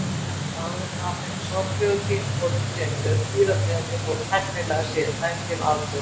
Áður en að þeim sorglegu tímamótum kemur er dýrategundin þó tæknilega séð dæmd til aldauða.